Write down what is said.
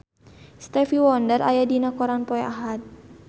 Stevie Wonder aya dina koran poe Ahad